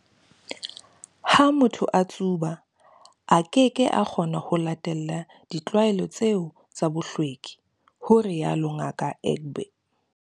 "Ha motho a tsuba, a keke a kgona ho latela ditlwaelo tseo tsa bohlweki," ho rialo Ngaka Egbe.